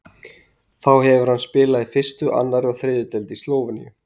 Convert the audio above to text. Þá hefur hann spilað í fyrstu, annarri og þriðju deild í Slóveníu.